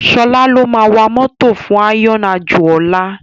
Sola ló má wá mòtó fún iron ájó òlá